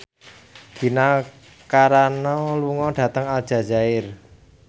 Gina Carano lunga dhateng Aljazair